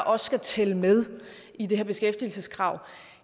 også skal tælle med i det her beskæftigelseskrav